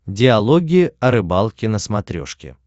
диалоги о рыбалке на смотрешке